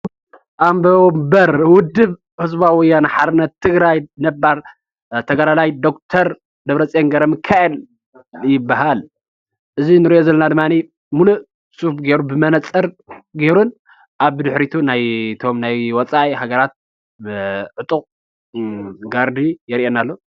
ኦቦ ወንበር ውድብ ህዝባዊ ወያነ ሓርነት ትግራይ ነባር ተጋዳላይ ዶክተር ደብረፅዮን ገ/ሚካኤል ይባሃል፣ እዚ እንሪኦ ዘለና ድማ ብመነፀጌሩን ኣብ ድሕሪቱ እቶም ናይ ወፃኢ ሃገራት ዕጡቅ ጋርዲ የርእየና ኣሎ፡፡